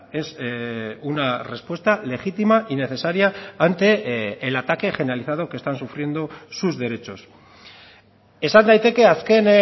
es una respuesta legítima y necesaria ante el ataque generalizado que están sufriendo sus derechos esan daiteke azken